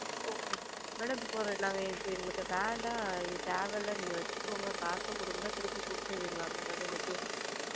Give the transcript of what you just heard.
Okay mam madam இப்போ ஒரு நாங்க எங்களுக்கு வேண்டாம் எங்களுக்கு தேவை இல்ல நீங்க வச்சுக்கோங்க எங்களுக்கு காச குடுங்க திருப்பி குடுத்திடுவின்களா mam அதாவது எனக்கு,